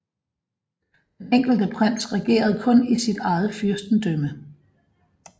Den enkelte prins regerede kun i sit eget fyrstendømme